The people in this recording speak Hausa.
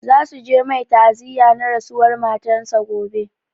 Za su je mai ta'aziya na rasuwar matar sa gobe